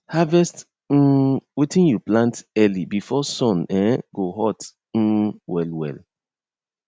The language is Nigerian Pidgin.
harvest um wetin you plant early before sun um go hot um well well